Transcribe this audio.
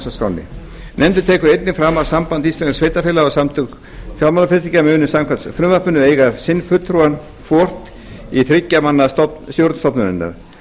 að skránni nefndin tekur einnig fram að samband íslenskra sveitarfélaga og samtök fjármálafyrirtækja munu samkvæmt frumvarpinu eiga sinn fulltrúa hvort í þriggja manna stjórn stofnunarinnar